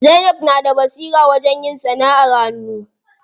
Zainab na da basira wajen yin sanaʼar hannu.